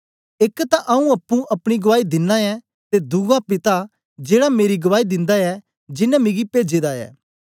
एक तां आऊँ अप्पुं अपनी गुआई दिनां ऐं ते दुआ पिता जेड़ा मेरी गवाई दिंदा ऐ जेनें मिगी पेजे दा ऐ